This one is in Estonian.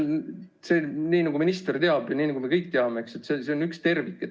Nagu minister teab ja nagu me kõik teame, see on üks tervik.